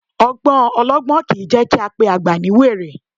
Ọgbọ́n ọlọgbọ́n kìí jẹ́ kí á pe àgbà ní wèrè